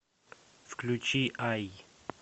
включи ай